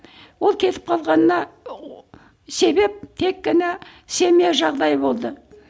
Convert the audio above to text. ол кетіп қалғанына себеп тек қана семья жағдайы болды